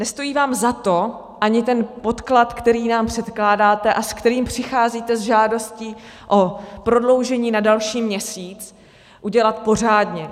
Nestojí vám za to ani ten podklad, který nám předkládáte a s kterým přicházíte s žádostí o prodloužení na další měsíc, udělat pořádně.